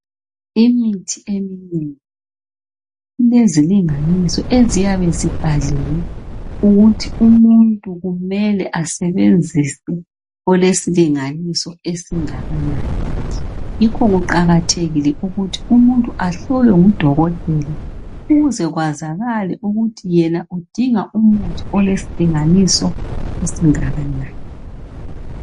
Imithi eminengi ilezilinganiso eziyabe zibhaliwe ukuthi umuntu kumele asebenzise olesilinganiso esingakanani. Yikho kuqakathekile ukuthi umuntu ahlolwe ngudokotela ukuze kwazakale ukuthi yena udinga umuthi olesilinganiso esingakanani.